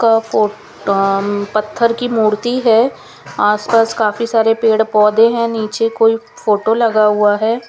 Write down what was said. का पत्थर की मूर्ति है आस पास काफी सारे पेड़ पौधे हैं नीचे कोई फोटो लगा हुआ है।